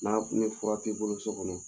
Na ni fura t'i bolo so kɔnɔ